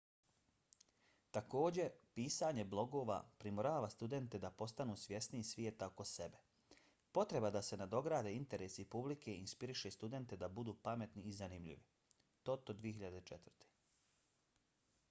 također pisanje blogova primorava studente da postanu svjesniji svijeta oko sebe . potreba da se nadograde interesi publike inspiriše studente da budu pametni i zanimljivi toto 2004